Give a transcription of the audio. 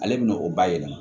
Ale bɛna o bayɛlɛma